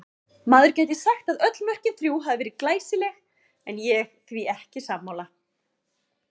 Maður gæti sagt að öll mörkin þrjú hafi verið glæsileg en ég því ekki sammála.